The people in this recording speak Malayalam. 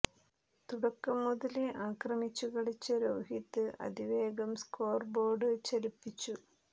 തുടക്കം മുതലേ ആക്രമിച്ചു കളിച്ച രോഹിത് അതിവേഗം സ്കോർ ബോർഡ് ചലിപ്പിച്ചു